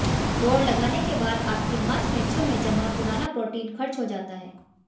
दौड़ लगाने के बाद आपकी मांसपेशियों में जमा पुराना प्रोटीन खर्च हो जाता है